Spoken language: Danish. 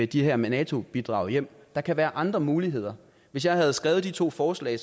de her nato bidrag hjem der kan være andre muligheder hvis jeg havde skrevet de to forslag